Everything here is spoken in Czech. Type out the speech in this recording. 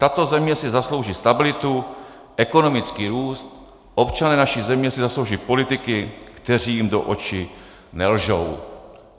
Tato země si zaslouží stabilitu, ekonomický růst, občané naší země si zaslouží politiky, kteří jim do očí nelžou."